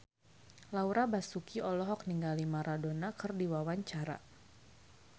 Laura Basuki olohok ningali Maradona keur diwawancara